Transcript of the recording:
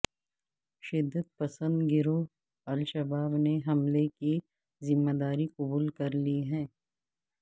شدت پسند گروہ الشباب نے حملے کی ذمہ داری قبول کر لی ہے